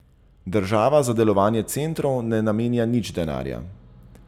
Država za delovanje centrov ne namenja nič denarja.